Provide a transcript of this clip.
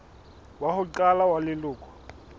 wa ho qala wa leloko